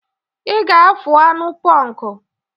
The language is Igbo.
Ị ga-afụ anụ ponku!